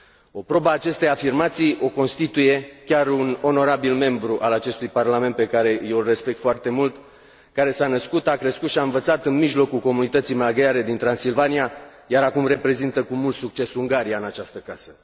O probă a acestei afirmații o constituie chiar un onorabil membru al acestui Parlament pe care eu îl respect foarte mult, care s a născut, a crescut și a învățat în mijlocul comunității maghiare din Transilvania iar acum reprezintă cu mult succes Ungaria în această casă.